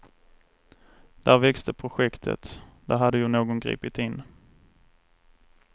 Där växte projektet, där hade ju någon gripit in.